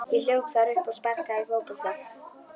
Ég hljóp þar um og sparkaði fótbolta.